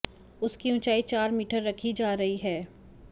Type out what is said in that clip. उसकी ऊंचाई चार मीटर रखी जा रही है